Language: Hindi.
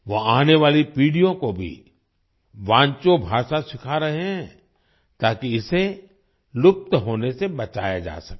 वो आने वाली पीढ़ियों को भी वांचो भाषा सिखा रहे हैं ताकि इसे लुप्त होने से बचाया जा सके